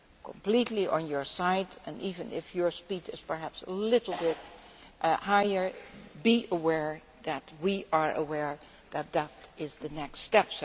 Completely on your side and, even if your speed is perhaps a little bit higher, be assured that we are aware that that is the next step.